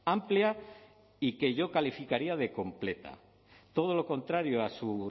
amplia y que yo calificaría de completa todo lo contrario a su